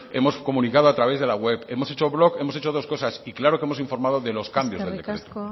hemos comunicado a través de la web hemos hecho blog y hemos hecho dos cosas y claro que hemos informado de los cambios eskerrik asko